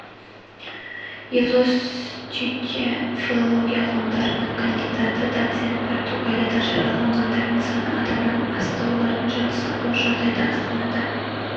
елдос түйте филология ғылымдарының кандидаты доцент португалияда жараланғандардың саны адамнан асты олардың жартысы ауыр жағдайда астанада